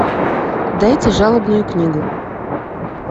дайте жалобную книгу